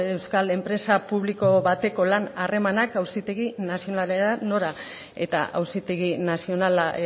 euskal enpresa publiko bateko lan harremanak auzitegi nazionalera nora eta auzitegi nazionala